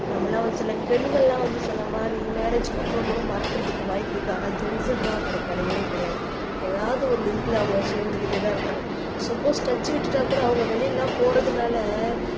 நம்மெல்லாம் ஒரு சில பெண்கள் எல்லாம் வந்து சொன்ன மாதிரி மேரேஜ்க்கு அப்புறம் கூட மறக்குறதுக்கு வாய்ப்பு இருக்கு ஆனா ஜென்ட்ஸ் எல்லாம் அப்படி கிடையவே கிடையாது ஏதாவது ஒரு லிங்க்ல அவங்க சேர்ந்துக்கிட்டே தான் இருக்காங்க சப்போஸ் டச்சு விட்டுட்டா கூட அவங்க வெளியில எல்லாம் போறதுனால